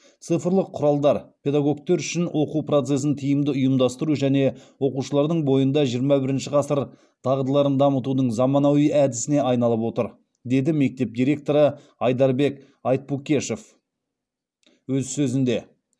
цифрлық құралдар педагогтер үшін оқу процесін тиімді ұйымдастыру және оқушылардың бойында жиырма бірінші ғасыр дағдыларын дамытудың заманауи әдісіне айналып отыр деді мектеп директоры айдарбек айтпукешев өз сөзінде